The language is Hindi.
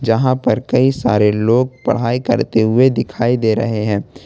यहां पर कई सारे लोग पढ़ाई करते हुए दिखाई दे रहे हैं।